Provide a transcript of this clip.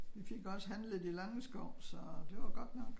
Vi fik også handlet i langeskov så det var god nok